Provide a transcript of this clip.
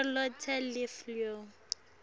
charlotte le fleur